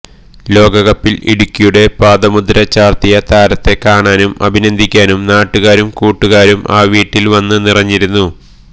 ലോകകപ്പില് ഇടുക്കിയുടെ പാദമുദ്ര ചാര്ത്തിയ താരത്തെ കാണാനും അഭിനന്ദിക്കാനും നാട്ടുകാരും കൂട്ടുകാരും ആ വീട്ടില് വന്ന് നിറഞ്ഞിരുന്നു